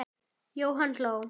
Jóhann hló.